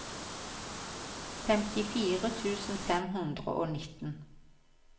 femtifire tusen fem hundre og nitten